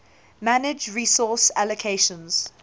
manage resource allocations